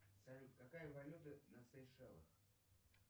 салют какая валюта на сейшелах